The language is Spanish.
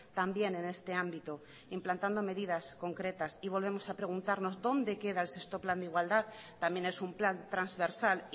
también en este ámbito implantando medidas concretas y volvemos a preguntarnos dónde queda el sexto plan de igualdad también es un plan transversal